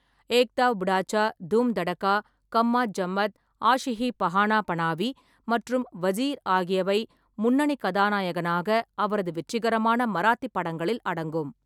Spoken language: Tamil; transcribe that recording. ஏக் தாவ் புடாச்சா, தூம் தடகா, கம்மாத் ஜம்மத், ஆஷி ஹி பனாவா பனாவி மற்றும் வஜீர் ஆகியவை முன்னணி கதாநாயகனாக அவரது வெற்றிகரமான மராத்தி படங்களில் அடங்கும்.